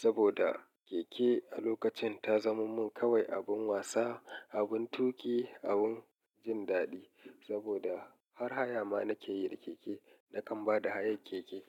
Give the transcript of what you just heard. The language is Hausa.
saboda keke a lokacin ta zama mun kawai abun wasa abun tuƙi abun jin daɗi saboda har haya ma nake yi da keke nakan ba da hayar keke.